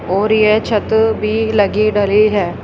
और ये छत भी लगी डली है।